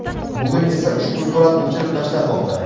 Bugun esa ushbu surat o‘chirib tashlanmoqda.